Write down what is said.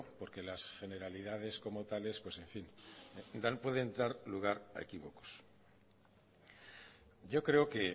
porque las generalidades como tales pueden dar lugar a equívocos yo creo que